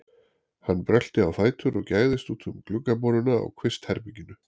Hann brölti á fætur og gægðist út um gluggaboruna á kvistherberginu.